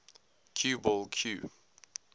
cue ball cue